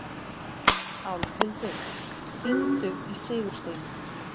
Álfhildur, hringdu í Sigursteinu.